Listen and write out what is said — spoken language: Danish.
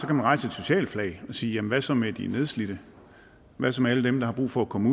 kan rejse et socialt flag og sige jamen hvad så med de nedslidte hvad så med alle dem der har brug for at komme